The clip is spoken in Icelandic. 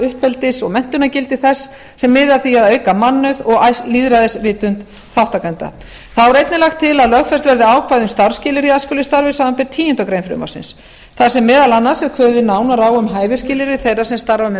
uppeldis og menntunarlegt gildi þess sem miði að því að auka mannauð og lýðræðisvitund þátttakenda þá er einnig lagt til að lögfest verði ákvæði um starfsskilyrði í æskulýðsstarfi samanber tíundu greinar frumvarpsins þar sem meðal annars er kveðið nánar á um hæfisskilyrði þeirra sem starfa með